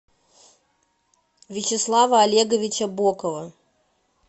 вячеслава олеговича бокова